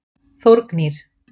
Þórgnýr